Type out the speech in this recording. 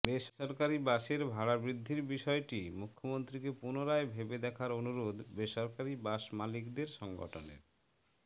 বেসরকারি বাসের ভাড়া বৃদ্ধির বিষয়টি মুখ্যমন্ত্রীকে পুনরায় ভেবে দেখার অনুরোধ বেসরকারি বাস মালিকদের সংগঠনের